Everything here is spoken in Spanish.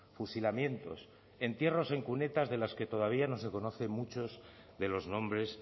fusilamientos entierros en cunetas de las que todavía no se conocen muchos de los nombres